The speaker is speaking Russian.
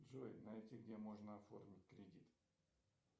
джой найти где можно оформить кредит